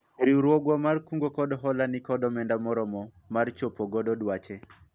riwruogwa mar kungo kod hola nikod omenda moromo mar chopo godo dwache